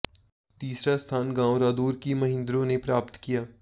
तीसरा स्थान गांव रादौर की महिन्द्रो ने प्राप्त किया